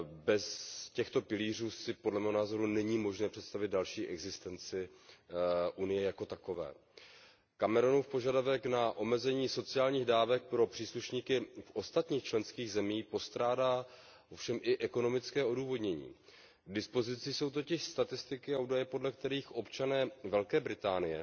Bez těchto pilířů si podle mého názoru není možné představit další existenci Unie jako takové. Cameronův požadavek na omezení sociálních dávek pro příslušníky ostatních členských zemí postrádá ovšem i ekonomické odůvodnění. K dispozici jsou totiž statistiky a údaje, podle kterých občané Velké Británie